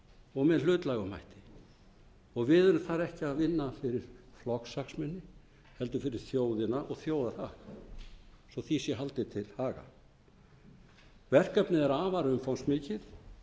og með hlutlægum hætti við erum þar ekki að vinna fyrir flokkshagsmuni heldur fyrir þjóðina og þjóðarhag svo því sé haldið til haga verkefnið er afar umfangsmikið